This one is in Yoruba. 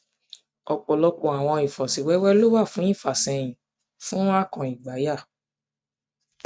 ọpọlọpọ awọn ifosiwewe lo wa fun ifasẹyin fun fun ifasẹyin fun akàn igbaya